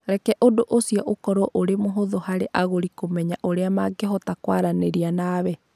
Reke ũndũ ũcio ũkorũo ũrĩ mũhũthũ harĩ agũri kũmenya ũrĩa mangĩhota kwaranĩria nawe.